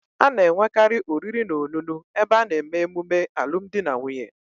A na-enwekari oriri na onunu ebe a na-eme emume alum di na nwunye